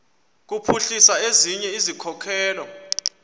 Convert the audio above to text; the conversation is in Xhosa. kuphuhlisa ezinye izikhokelo